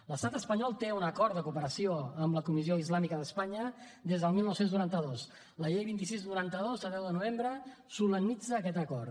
l’estat espanyol té un acord de cooperació amb la comissió islàmica d’espanya des del dinou noranta dos la llei vint sis noranta dos de deu de novembre solemnitza aquest acord